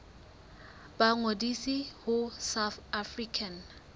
ba ngodise ho south african